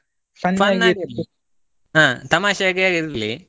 ಹ ತಮಾಷೆ ಯಾಗೆ ಇರ್ಲಿ.